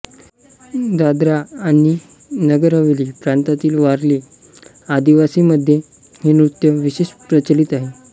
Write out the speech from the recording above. दादरा आणि नगरहवेली प्रांतातील वारली आदिवासींमध्ये हे नृत्य विशेष प्रचलित आहे